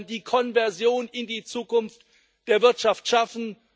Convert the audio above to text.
Wir wollen die Konversion in die Zukunft der Wirtschaft schaffen.